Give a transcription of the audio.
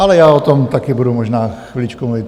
Ale já o tom také budu možná chviličku mluvit.